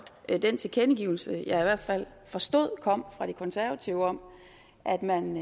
den tilkendegivelse jeg i hvert fald forstod kom fra de konservative om at man